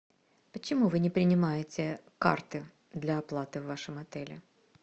почему вы не принимаете карты для оплаты в вашем отеле